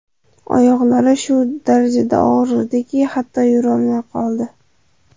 Oyoqlari shu darajada og‘rirdiki, hatto yurolmay qoldi.